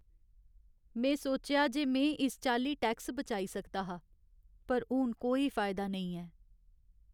में सोचेआ जे में इस चाल्ली टैक्स बचाई सकदा हा, पर हून कोई फायदा नेईं ऐ।